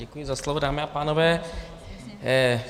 Děkuji za slovo, dámy a pánové.